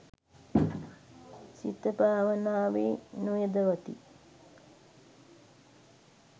සිත භාවනාවේ නොයොදවති.